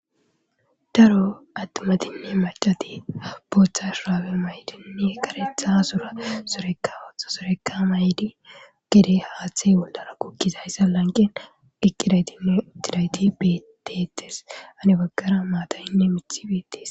Daro attimatinne macati booththa shuraabe maydinne karetha sura soreka otha soreka maydi gede haaththey bollara kukkizayssa lanqen diqqidaytinne ittidayti betetes ane baggara maatayinne mithi beettes.